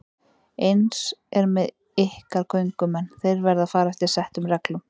Eins er með ykkar göngumenn, þeir verða að fara eftir settum reglum.